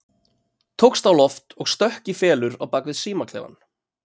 Tókst á loft og stökk í felur á bak við símaklefann.